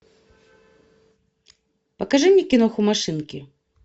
покажи мне киноху машинки